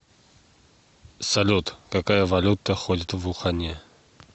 салют какая валюта ходит в ухане